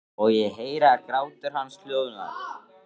Og ég heyri að grátur hans hljóðnar.